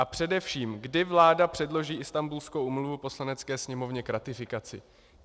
A především, kdy vláda předloží Istanbulskou úmluvu Poslanecké sněmovně k ratifikaci?